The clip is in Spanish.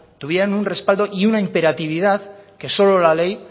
tuvieran un respaldo y una imperatividad que solo la ley